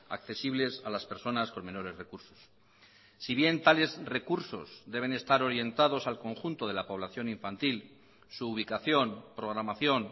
accesibles a las personas con menores recursos si bien tales recursos deben estar orientados al conjunto de la población infantil su ubicación programación